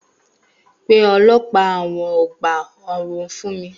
Pè àwọn ọlọ́pàá ọgbà ẹ̀wọ̀n fun mi